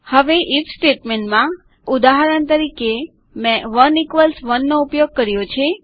હવે ઇફ સ્ટેટમેન્ટમાં ઉદાહરણ તરીકે મેં 1 1 નો ઉપયોગ કર્યો છે